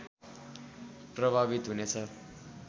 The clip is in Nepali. प्रभावित हुनेछ